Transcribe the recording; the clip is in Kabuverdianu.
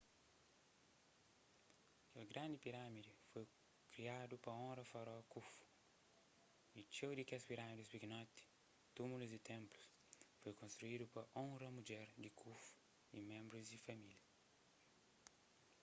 kel grandi pirâmidi foi kriadu pa onra faraó khufu y txeu di kes pirâmides pikinoti túmulus y ténplus foi konstruídu pa onra mudjer di khufu y ménbrus di família